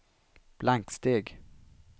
blanksteg